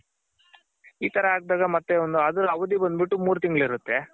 ಈ ತರ ಹಾಕ್ದಾಗ ಮತ್ತೆ ಒಂದ್ ಅದರ್ ಅವಧಿ ಬಂದ್ ಬಿಟ್ಟು ಮೂರ್ ತಿಂಗ್ಳಿರುತ್ತೆ.